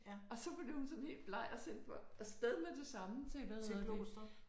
Og så blev hun sådan helt bleg og sendte mig af sted med det samme til hvad hedder det